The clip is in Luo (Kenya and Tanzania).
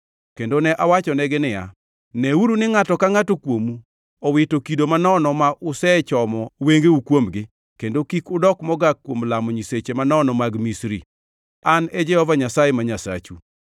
Kendo ne awachonegi niya, “Neuru ni ngʼato ka ngʼato kuomu owito kido manono ma usechomo wengeu kuomgi kendo kik udok mogak kuom lamo nyiseche manono mag Misri. An e Jehova Nyasaye ma Nyasachu.”